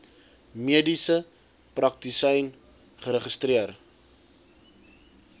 mediese praktisyn geregistreer